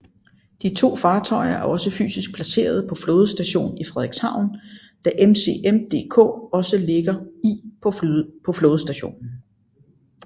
De to fartøjer er også fysisk placeret på Flådestation Frederikshavn da MCM DK også ligger i på flådestationen